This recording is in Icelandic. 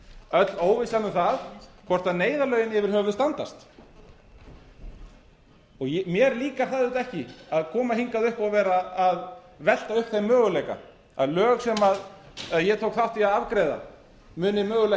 öll óvissan um það hvort neyðarlögin yfir höfuð standast mér líkar það auðvitað ekki að koma hingað upp og vera að velta upp þeim möguleika að lög sem ég tók þátt í að afgreiða muni mögulega ekki